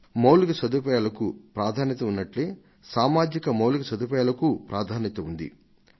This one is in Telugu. మౌలిక సదుపాయాలకు ప్రాధాన్యత ఉన్నట్లే సామాజిక మౌలిక సదుపాయాలకూ ప్రాధాన్యత ఉండాలి